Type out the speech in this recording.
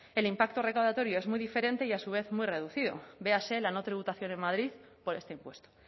el impacto recaudatorio es muy diferente y a su vez muy reducido véase la no tributación en madrid por este impuesto